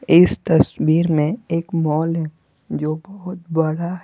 इस तस्वीर में एक मॉल है जो बहुत बरा --